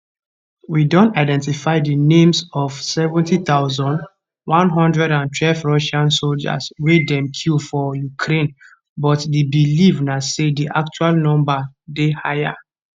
we don identify di names of 70112 russian soldiers wey dem kill for ukraine but di believe na say di actual number dey higher